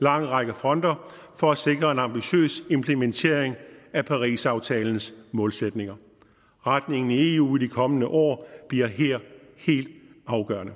lang række fronter for at sikre en ambitiøs implementering af parisaftalens målsætninger retningen i eu i de kommende år bliver her helt afgørende